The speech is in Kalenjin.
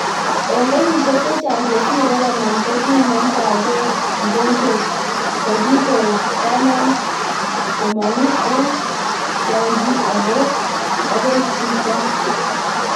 Engenyishek chechang chesire konom, kinamndagei mugojwet kokikoe komang'u ek tyang'ii agoi jitaa.